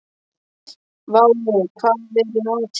Váli, hvað er í matinn?